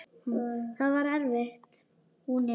Það var erfitt.